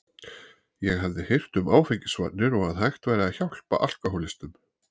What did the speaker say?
Ég hafði heyrt um áfengisvarnir og að hægt væri að hjálpa alkóhólistum.